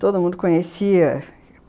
Todo mundo conhecia.